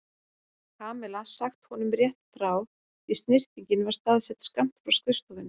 Kamilla sagt honum rétt frá því snyrtingin var staðsett skammt frá skrifstofunni.